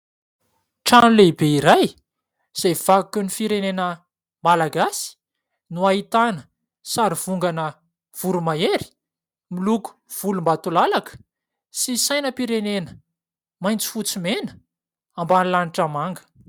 Trano lehibe iray izay vakoky ny firenena malagasy no ahitana sary vongana voro-mahery miloko volombatolalaka sy sainam-pirenena maitso, fotsy, mena ambany lanitra manga.